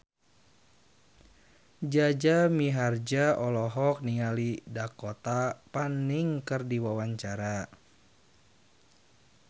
Jaja Mihardja olohok ningali Dakota Fanning keur diwawancara